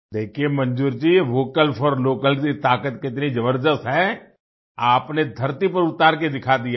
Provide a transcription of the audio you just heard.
देखिये Manzoor ji vocal for local की ताकत कितनी जबरदस्त है आपने धरती पर उतार कर दिखा दिया है